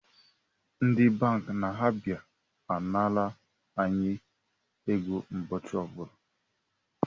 Ndi banki na-abịa anara anyi ego ụbọchị ọbụla